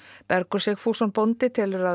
Bergur Sigfússon bóndi telur að